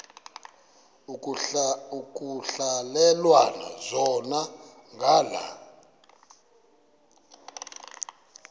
ekuhhalelwana zona ngala